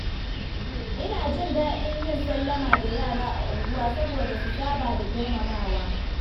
Ina jin daɗin yin sallama da yara a unguwa saboda su saba da girmamawa.